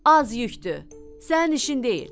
Az yükdür, sənin işin deyil.